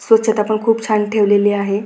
स्वच्छता पण खूप छान ठेवलेली आहे.